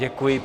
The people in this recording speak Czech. Děkuji.